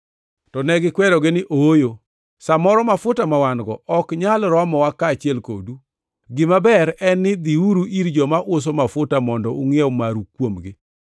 “To negikwerogi ni, ‘Ooyo, sa moro mafuta ma wan-go ok nyal romowa kaachiel kodu. Gima ber en ni dhiuru ir joma uso mafuta mondo ungʼiew maru kuomgi.’